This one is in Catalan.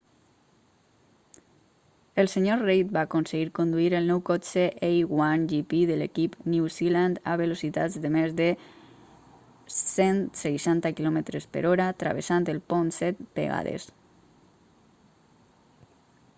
el sr reid va aconseguir conduir el nou cotxe a1gp de l'equip new zealand a velocitats de més de 160 km/h travessant el pont set vegades